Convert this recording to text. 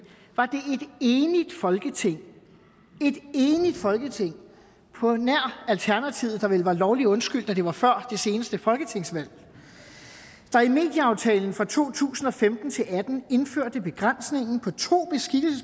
enigt folketing et enigt folketing på nær alternativet der vel var lovligt undskyldt da det var før det seneste folketingsvalg der i medieaftalen for to tusind og femten til atten indførte begrænsningen på to